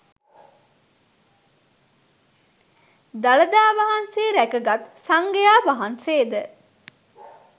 දළදා වහන්සේ රැකගත් සංඝයා වහන්සේ ද